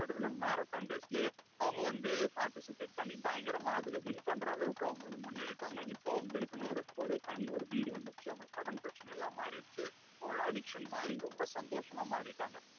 அவங்க வந்து participate பண்ணி பயங்கரமா அதுல win பண்ற அளவுக்கு அவங்க முன்னேறிட்டாங்க. இப்போ அவங்களுக்குன்னு ஒரு தனி ஒரு வீடு வந்துடுச்சு. அவங்க கடன் பிரச்சனை எல்லாம் மாறிடுச்சு. அவங்க addiction மாறி ரொம்ப சந்தோஷமா மாறிட்டாங்க.